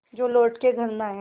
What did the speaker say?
जो लौट के घर न आये